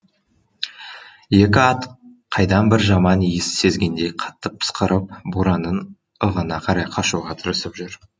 екі ат қайдан бір жаман иіс сезгендей қатты пысқырып боранның ығына қарай қашуға тырысып жүр